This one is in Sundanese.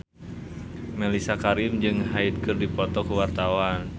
Mellisa Karim jeung Hyde keur dipoto ku wartawan